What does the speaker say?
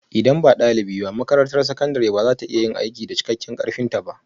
Idan ba ɗalibi ba, makarantar sakandare ba za ta iya yin aiki da cikakken ƙarfinta ba